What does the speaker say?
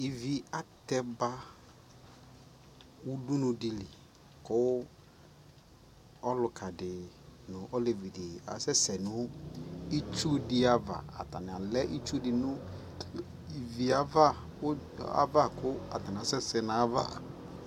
ivi atɛ ba udunu di li ko ɔluka di no olevi di asɛsɛ no itsu di ava atani alɛ itsu di no ivie ava ko atani asɛsɛ no ava